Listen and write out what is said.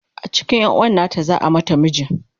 a cikin yanuwan nata za'a mata miji